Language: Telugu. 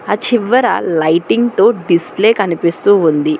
ఆ చివ్వరా లైటింగ్ తో డిస్ప్లే కనిపిస్తూ ఉంది.